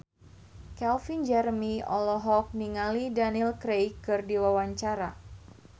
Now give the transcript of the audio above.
Calvin Jeremy olohok ningali Daniel Craig keur diwawancara